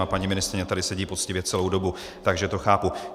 A paní ministryně tady sedí poctivě celou dobu, takže to chápu.